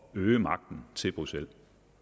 at øge magten til bruxelles